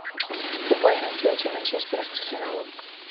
футбольная встреча манчестера с арсеналом